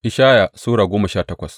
Ishaya Sura goma sha takwas